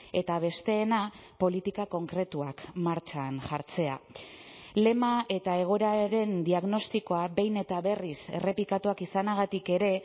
eta besteena politika konkretuak martxan jartzea lema eta egoeraren diagnostikoa behin eta berriz errepikatuak izanagatik ere